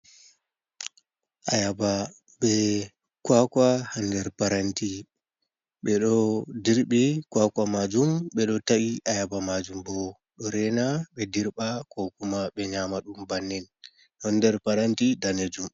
Ayaba be kwakwa hander paranti ,be do dirbe kwakwa majum bedo ta’i ayaba majum bo do rena be dirba kokuma be nyama dum bannin non der paranti danejum.